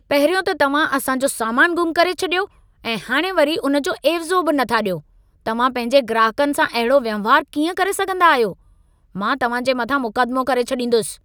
पहिरियों त तव्हां असां जो सामान ग़ुम करे छॾियो ऐं हाणि वरी उन जो एवज़ो बि नथा ॾियो। तव्हां पंहिंजे ग्राहकनि सां अहिड़ो वहिंवार कीअं करे सघंदा आहियो। मां तव्हां जे मथां मुकदमो करे छॾींदुसि।